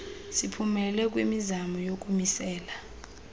siphumelele kwimizamo yokumisela